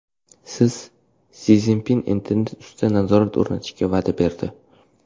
Si Szinpin internet ustidan nazorat o‘rnatishga va’da berdi.